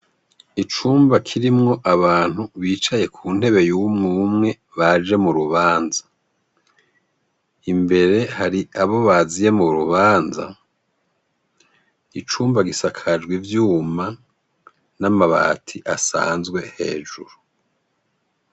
Icumba kirimwo abantu bicaye ku ntebe y'umwe umwe, baje mu rubanza. Imbere hari abo baziye mu rubanza. Icumba gisakajwe ivyuma n'amabati asanzwe hejuru.